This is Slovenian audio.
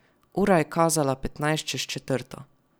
Ura je kazala petnajst čez četrto.